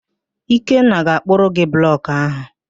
Ikenna ga-akpụrụ gị blọkụ ahụ.